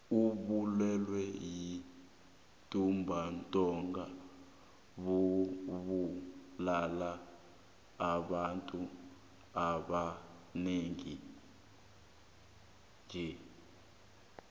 ubulwele bentumbantonga bubulala abantu abanengi tle